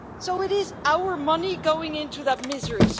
It is our money going into that misery.